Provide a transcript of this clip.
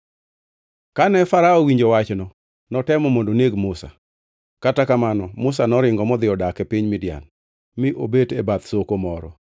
Kane Farao owinjo wachno notemo mondo oneg Musa, kata kamano Musa noringo modhi odak e piny Midian, mi obet e bath soko moro.